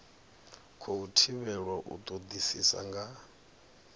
khou thivhelwa u todisisa nga